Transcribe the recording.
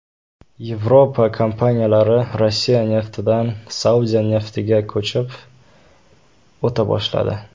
Yevropa kompaniyalari Rossiya neftidan Saudiya neftiga ko‘chib o‘ta boshladi.